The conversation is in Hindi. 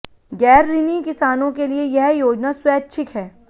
गैरऋणी किसानों के लिए यह योजना स्वैच्छिक है